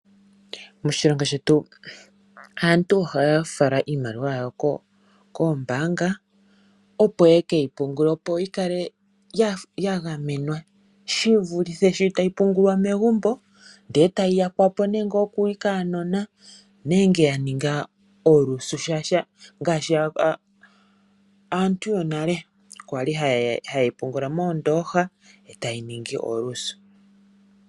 Moshilongo shetu aantu ohaya fala iimaliwa yawo koombaanga opo yekeyi pungule opo yikale yagamenwa shivulithe sho tayi pungulwa megumbo ndele e tayi yakwa po kuunona nenge yaninga oolusu shaashi ngaashi aantu yonale kwali haye yi pungula moondooha e tayi ningi oolusi.